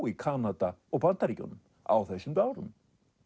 í Kanada og Bandaríkjunum á þessum árum